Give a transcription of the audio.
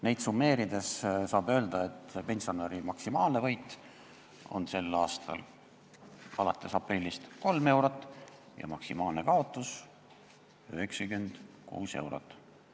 Neid asju summeerides saab öelda, et pensionäri maksimaalne võit on sel aastal alates aprillist 3 eurot ja maksimaalne kaotus 96 eurot.